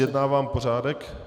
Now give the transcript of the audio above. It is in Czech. Zjednávám pořádek.